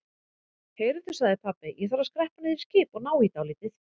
Heyrðu sagði pabbi, ég þarf að skreppa niður í skip og ná í dálítið.